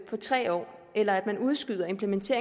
på tre år eller en udskydelse